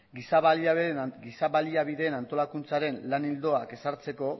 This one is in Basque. giza baliabideen antolaketaren lan ildoak ezartzeko